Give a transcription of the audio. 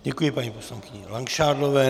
Děkuji paní poslankyni Langšádlové.